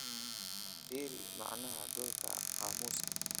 fiiri macnaha dhulka qaamuuska